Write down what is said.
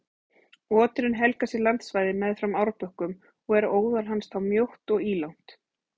Oturinn helgar sér landsvæði meðfram árbökkum og er óðal hans þá mjótt og ílangt.